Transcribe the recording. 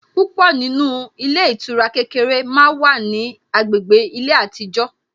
Púpọ̀ nínú ilé ìtura kékeré màá wá ní agbègbè ilé àtijó